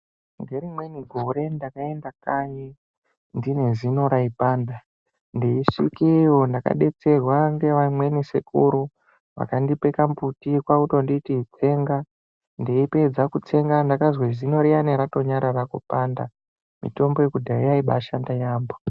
Ngerimweni gore ndakaenda kanyi ndine zino raipanda ndeisvikeyo ndakadetserwa ngevamweni sekuru vakandipe kambuti kwakutonditi tsega ndeipedza kutsenga ndakatozwe zino riyani ranyarara kupanda mitombo yekudhaya yaibashanda yambho.